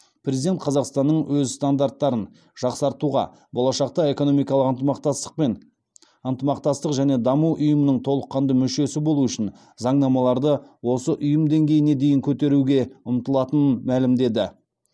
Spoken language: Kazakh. президент қазақстанның өз стандарттарын жақсартуға болашақта экономикалық ынтымақтастық пен ынтымақтастық және даму ұйымының толыққанды мүшесі болу үшін заңнамаларды осы ұйым деңгейіне дейін көтеруге ұмтылатынын мәлімдеді